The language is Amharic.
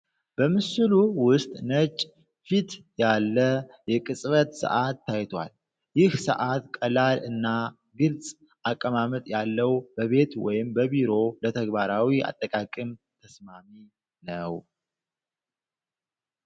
በምስሉ ውስጥ ነጭ ፊት ያለ የቅጽበት ሰዓት ታይቷል። ይህ ሰዓት ቀላል እና ግልጽ አቀማመጥ ያለው በቤት ወይም በቢሮ ለተግባራዊ አጠቃቀም ተስማሚ ነው።